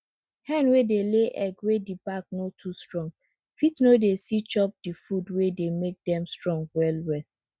hen wey dey lay egg wey di back no too strong fit no dey see chop di food wey dey make dem strong well well